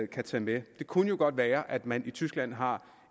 kan tage med det kunne jo godt være at man i tyskland har